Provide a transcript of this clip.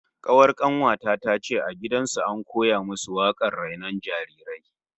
Kawar kanuwa ta tace a gidan su an koya musu wakar rainon jarirai